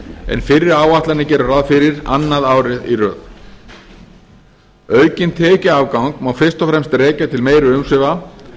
en fyrri áætlanir gerðu ráð fyrir annað árið í röð aukinn tekjuafgang má fyrst og fremst rekja til meiri umsvifa